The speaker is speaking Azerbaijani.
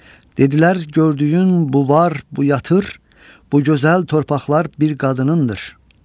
Dedilər gördüyün bu var, bu yatır, bu gözəl torpaqlar bir qadınındır.